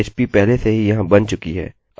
अतः मैं इसको इस्तेमाल करूँगा